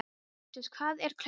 Fabrisíus, hvað er klukkan?